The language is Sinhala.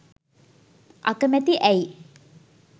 අකමැති ඇයි?